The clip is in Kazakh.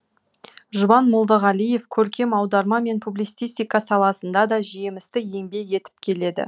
жұбан молдағалиев көркем аударма мен публицистика саласында да жемісті еңбек етіп келеді